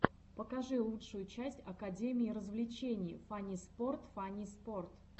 покажи лучшую часть академии развлечений фанниспорт фанниспорт